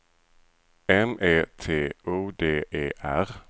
M E T O D E R